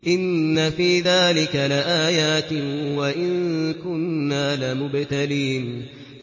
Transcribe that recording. إِنَّ فِي ذَٰلِكَ لَآيَاتٍ وَإِن كُنَّا لَمُبْتَلِينَ